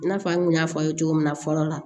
I n'a fɔ an kun y'a fɔ aw ye cogo min na fɔlɔ la